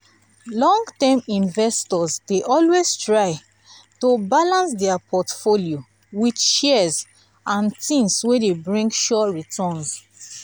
long-term investors dey always try to balance their portfolio with shares and things wey dey bring sure returns.